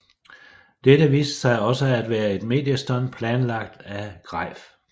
Dette viste sig også at være et mediestunt planlagt af Greif